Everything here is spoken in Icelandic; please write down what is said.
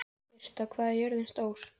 Britta, hvað er jörðin stór?